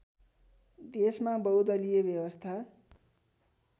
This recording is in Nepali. देशमा बहुदलीय व्यवस्था